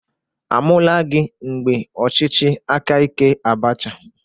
A mụlagị mgbe ọchịchị akaike Abacha?